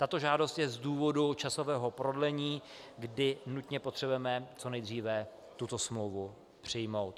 Tato žádost je z důvodu časového prodlení, kdy nutně potřebujeme co nejdříve tuto smlouvu přijmout.